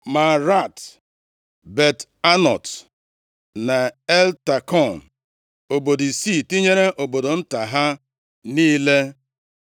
Maarat, Bet-Anot na Eltekọn, obodo isii tinyere obodo nta ha niile.